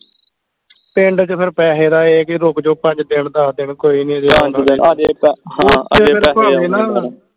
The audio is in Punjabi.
ਪਿੰਡ ਚ ਫੇਰ ਪੈਸੇ ਦਾ ਇਹ ਕੇ ਰੁਕ ਜੋ ਪੰਜ ਦਿਨ ਦੱਸ ਦਿਨ ਕੋਈ ਨੀ ਭਾਵੇਂ ਨਾ